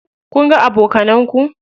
Kunga abokanan ku?